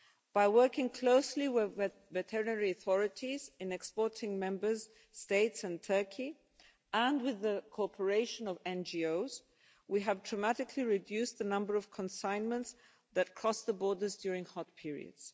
By working closely with veterinary authorities in exporting Members States and Turkey, and with the cooperation of NGOs, we have dramatically reduced the number of consignments that cross the borders during hot periods.